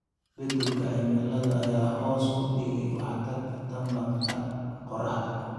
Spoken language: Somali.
Isbeddelka cimilada ayaa hoos u dhigay waxtarka tamarta qorraxda.